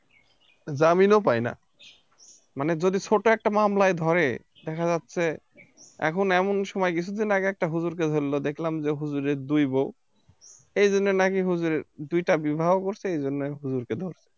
জামিনও পায় না মানে যদি ছোট একটা মামলায় ধরে দেখা যাচ্ছে এখন এমন সময় কিছুদিন আগে একটা হুজুরকে ধরল দেখলাম যে হুজুরের দুই বউ এইজন্য নাকি হুজুর দুইটা বিবাহ করছে এইজন্য নাকি হুজুরকে ধরছে